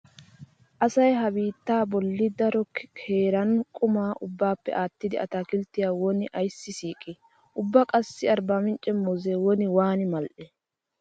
Asay ha biittaa bollan daro heeran quma ubbaappe aattidi ataakilttiya woni ayssi siiqi? Ubba qassi arbamincce muuzzee woni waani mal"i?